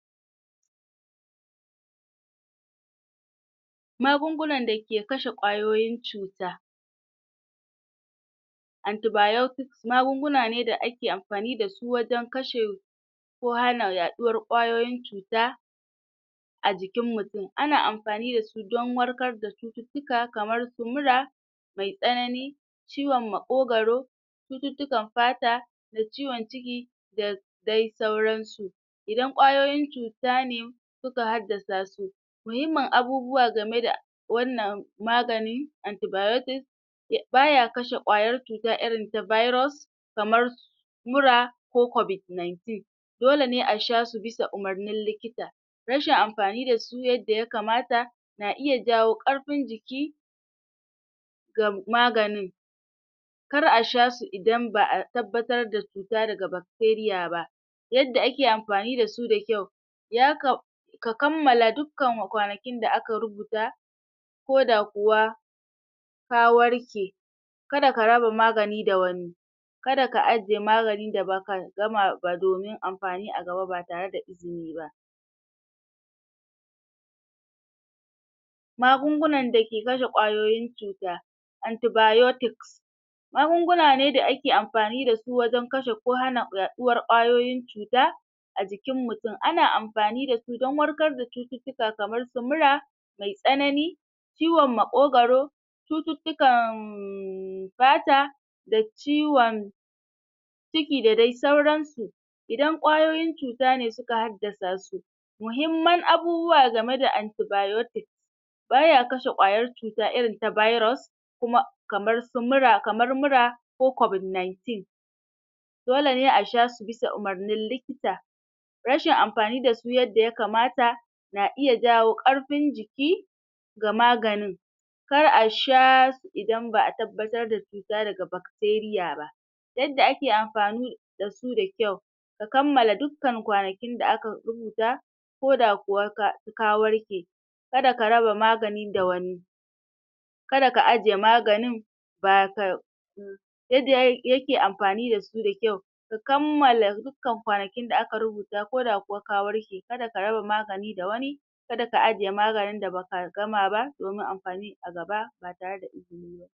Magungunan da ke kashe kwayoyin cuta Antibiotics magunguna ne da ake amfani dasu wajan kashe ko hana yaɗuwar kwayoyin cuta a jikin mutum ana amfani dasu don warkar da cututtuka kamar su mura mai tsanani ciwon maƙogaro cututtukan fata da ciwon ciki da dai sauransu idan kwayoyin cuta ne suka haddasa su muhimmim abubuwa game da wannan magani antibiotics baya kashe kwayar cuta irin ta virus kamar mura ko COVID- nineteen dole ne a sha su bisa umarnin likita rashin amfani dasu yadda ya kamata na iya jawo ƙarfin jiki ga maganin kar a sha su idan ba'a tabbatar da cuta daga bacteria ba yadda ake amfani dasu da kyau yakam ka kammala dukan kwanakin da aka rubuta koda kuwa ka warke kada ka raba magani da wani kada aka ajjiye magani da baka gama ba domin amfani a gaba ba tare da izini ba magungunan dake kashe kwayoyin cuta antibiotis magunguna ne da ake amfani dasu wajan kashe ko hana yaɗuwar kwayoyin cuta a jikin mutum, an amfani dasu dan wwarkar da cututtuka kamar su mura mai tsanani ciwon makogaro cututukan um fata da ciwon\ ciki da dai sauransu idan kwayo cuta ne suka haddasa su mahimman abubuwa game da antibiotics baya kashe kyawon cuta irin ta virus kuma kamar su mura, kamar mura ko COVID nineteen dole ne a shasu bisa umarnin likita rashin amfani dasu yadda yakamata na iya jawo ƙarfin jiki ga maganin kar a sha idan ba'a tabbatar da cuta daga bacteria ba yadda ake amfani dasu da kyau ka kammala dukan kwanakin da aka rubuta koda kuma ka, ka ka warke kada ka raba maganin da wani kaga ka ajjiye maganin] baka yadda yay yake amfani dasu mai kyau ka kammala dukan kwanakin da aka rubuta, ko da kuwa ka warke, kaga ka raba maganin da wani kaga ka ajjiye maganin da baka gama ba domin amfani a gaba ta tare da izini ba